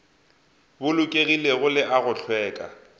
bolokegilego le a go hlweka